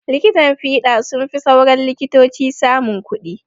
likitan fiɗa sunfi sauran likitoci samun kuɗi